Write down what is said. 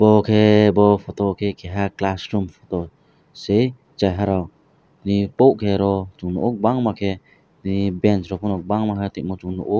obo ke bo photo o khe keha class room se cherairok tango bangma ke banch rok bo bangma tangma nohoro.